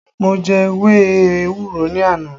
Mo jẹ ewé ewúro ní àná